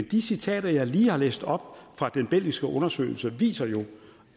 de citater jeg lige har læst op fra den belgiske undersøgelse viser jo